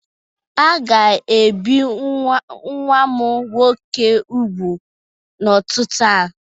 A ga-ebi nwa m nwoke ugwu n'ụtụtụ a.